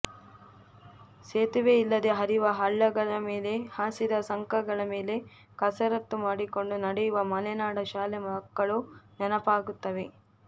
ಸೇತುವೆಯಿಲ್ಲದೆ ಹರಿವ ಹಳ್ಳಗಳ ಮೇಲೆ ಹಾಸಿದ ಸಂಕಗಳ ಮೇಲೆ ಕಸರತ್ತು ಮಾಡಿಕೊಂಡು ನಡೆಯುವ ಮಲೆನಾಡ ಶಾಲೆ ಮಕ್ಕಳು ನೆನಪಾಗುತ್ತವೆ